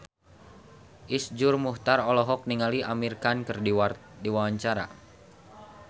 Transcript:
Iszur Muchtar olohok ningali Amir Khan keur diwawancara